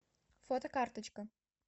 фотокарточка